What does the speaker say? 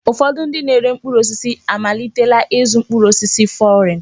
Ụfọdụ ndị na-ere mkpụrụ osisi amalitela ịzụ mkpụrụ osisi fọrịn.